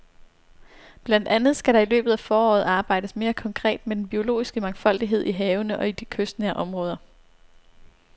Blandt andet skal der i løbet af foråret arbejdes mere konkret med den biologiske mangfoldighed i havene og i de kystnære områder.